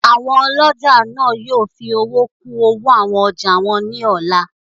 Àwọn ọlọ́jà náà yóò fi owó kún owó àwọn ọjà wọn ní ọ̀la